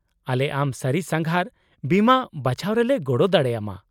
-ᱟᱞᱮ ᱟᱢ ᱥᱟᱹᱨᱤ ᱥᱟᱸᱜᱷᱟᱨ ᱵᱤᱢᱟᱹ ᱵᱟᱪᱷᱟᱣ ᱨᱮᱞᱮ ᱜᱚᱲᱚ ᱫᱟᱲᱮ ᱟᱢᱟ ᱾